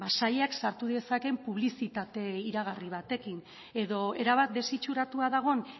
sailak sartu dezakeen publizitate iragarri batekin edo erabat desitxuratua dagoen